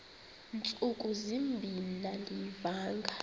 ntsuku zimbin andiyivanga